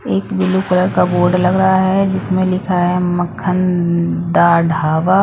एक blue colour का board लग रहा है जिसमें लिखा है मक्खन दा ढाबा--